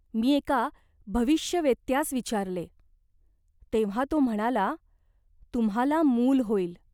मी एका भविष्यवेत्त्यास विचारले. तेव्हा तो म्हणाला, तुम्हाला मूल होईल.